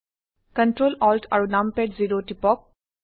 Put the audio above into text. control Alt আৰু num pad zero টিপক